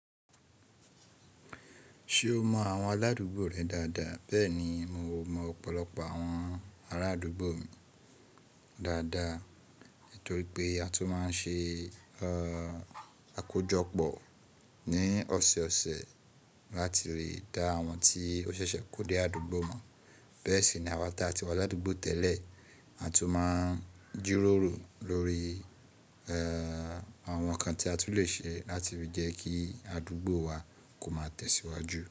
Ṣé o mọ àwọn aládùúgbò rẹ dáadáa? Bẹ́ẹ̀ni, mo mọ ọ̀pọ̀lọpọ̀ àwọn arádùúgbò mi dáadáa, torí pé a tún máa ń ṣe àkójọpọ̀ ní ọ̀sẹ̀ẹ̀sẹ̀ láti lè dá àwọn tí ó ṣẹ̀ṣẹ̀ kó dé àdúgbò mọ̀. Bẹ́ẹ̀ sì ni àwọn tí a ti wà ládùúgbò tẹ́lẹ̀, a tún máa ń jíròrò lórí àwọn nǹkan tí a tún le ṣe láti fi jẹ́ kí àdúgbò wa kó má tẹ̀síwájú.